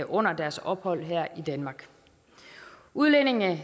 under deres ophold her i danmark udlændinge